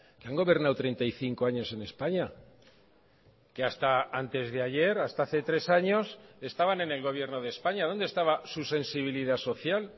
que han gobernado treinta y cinco años en españa que hasta antes de ayer hasta hace tres años estaban en el gobierno de españa dónde estaba su sensibilidad social